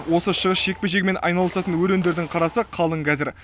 осы шығыс жекпе жегімен айналысатын өрендердің қарасы қалың қазір